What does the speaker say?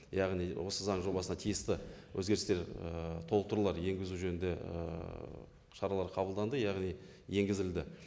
яғни осы заң жобасына тиісті өзгерістер ііі толықтырулар енгізу жөнінде ііі шаралар қабылданды яғни енгізілді